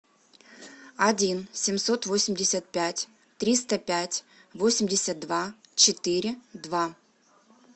один семьсот восемьдесят пять триста пять восемьдесят два четыре два